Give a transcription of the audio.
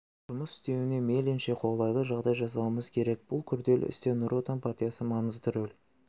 жұмыс істеуіне мейлінше қолайлы жағдай жасауымыз керек бұл күрделі істе нұр отан партиясы маңызды рөл